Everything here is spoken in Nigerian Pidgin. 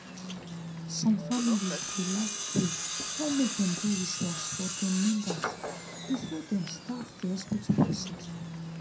some families dey like pray or mk dem do rituals for dem members before dem start the hospital procedure